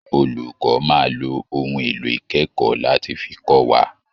Olùkọ́ máa lo ohun èlò ìkẹ́kọ̀ọ́ láti fi kọ́ wa